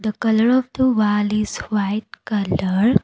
the colour of the wall is white colour.